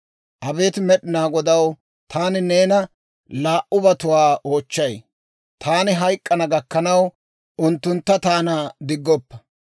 Abeet Med'inaa Godaw, taani neena laa"ubatuwaa oochchay; taani hayk'k'ana gakkanaw, unttuntta taana diggoppa.